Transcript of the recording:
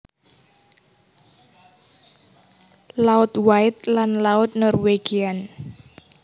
Laut White lan Laut Norwegian